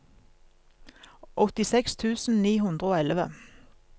åttiseks tusen ni hundre og elleve